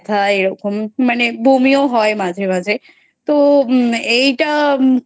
এরকম মানে বমিও হয় মাঝে মাঝে তো এইটা